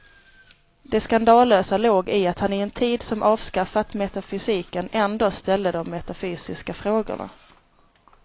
Det skandalösa låg i att han i en tid som avskaffat metafysiken ändå ställde de metafysiska frågorna.